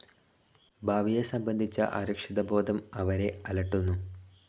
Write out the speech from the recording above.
ഭാവിയെ സംബന്ധിച്ച അരക്ഷിതബോധം അവരെ അലട്ടുന്നു.